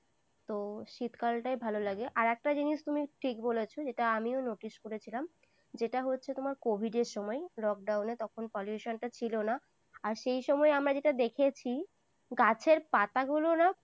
তো শীতকালটাই ভালো লাগে। আর একটা জিনিস তুমি ঠিক বলেছ। এটা আমিও notice করেছিলাম, যেটা হচ্ছে তোমার covid এর সময়, lockdown নে pollution টা তখন ছিল না। আর সেই সময় আমরা যেটা দেখেছি, গাছের পাতাগুলো না